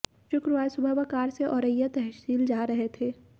शुक्रवार सुबह वह कार से औरैया तहसील जा रहे थे